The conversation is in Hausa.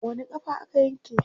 Wani ƙafa aka yanke?